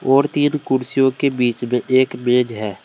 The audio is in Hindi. और तीन कुर्सियों के बीच में एक मेज है।